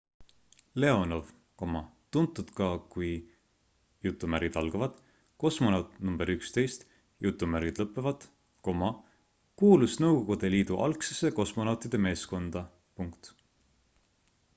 leonov tuntud ka kui kosmonaut nr 11 kuulus nõukogude liidu algsesse kosmonautide meeskonda